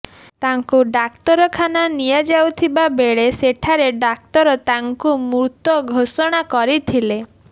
ତାଙ୍କୁ ଡାକ୍ତରଖାନା ନିଆଯାଇଥିବାବେଳେ ସେଠାରେ ଡାକ୍ତର ତାଙ୍କୁ ମୃତ ଘୋଷଣା କରିଥିଲେ